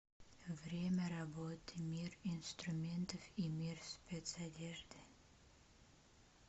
время работы мир инструментов и мир спецодежды